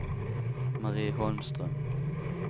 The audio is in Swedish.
Marie Holmström